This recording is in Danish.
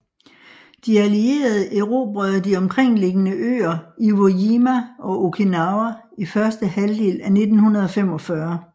De allierede erobrede de omkringliggende øer Iwo Jima og Okinawa i første halvdel af 1945